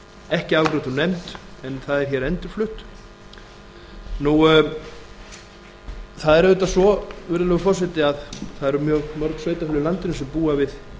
ekki afgreitt úr nefnd en það er hér endurflutt nú það er auðvitað svo virðulegur forseti að það eru mjög mörg sveitarfélög í landinu sem búa við